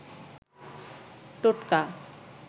টোটকা